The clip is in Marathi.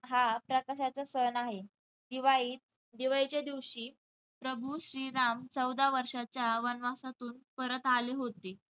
हा प्रकाशाचा सण आहे. दिवाळीत~ दिवाळीच्या दिवशी प्रभू श्री राम चौदा वर्षाच्या वनवासातून परत आले होते.